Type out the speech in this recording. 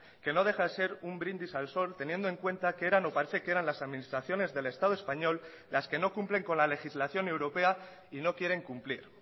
que no deja de ser un brindis al sol teniendo en cuenta que eran o parece que eran las administraciones del estado español las que no cumplen con la legislación europea y no quieren cumplir